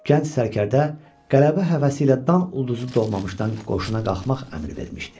Gənc sərkərdə qələbə həvəsi ilə dan ulduzu doğmamışdan qoşuna qalxmaq əmr vermişdi.